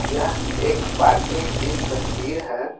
यह एक पार्किंग की तस्वीर है।